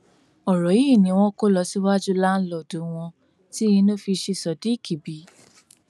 ọrọ yìí ni wọn kó lọ síwájú láńlọọdù wọn tí inú fi ṣí sodiq bí